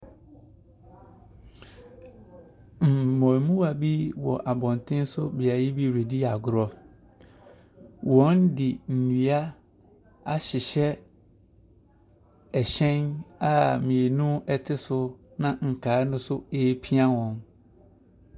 Mmaamua bi wɔ abɔnten so beebi redi agorɔ. Wɔde nnua ahyehyɛ hyɛn a mmienu te so na nkaa no so ɛrepia wɔn.